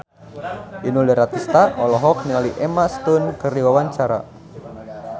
Inul Daratista olohok ningali Emma Stone keur diwawancara